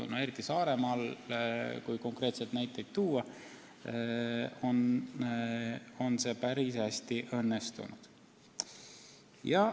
Kui konkreetseid näiteid tuua, siis see on päris hästi õnnestunud Saaremaal.